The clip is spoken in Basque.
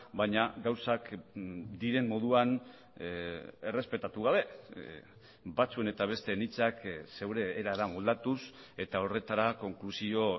baina gauzak diren moduan errespetatu gabe batzuen eta besteen hitzak zure erara moldatuz eta horretara konklusio